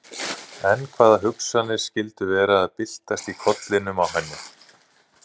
En hvaða hugsanir skyldu vera að byltast í kollinum á henni?